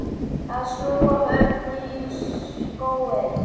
Að snúa vörn í sókn.